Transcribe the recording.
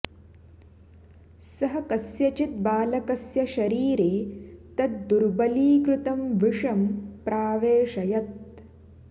सः कस्यचित् बालकस्य शरीरे तत् दुर्बलीकृतं विषं प्रावेशयत्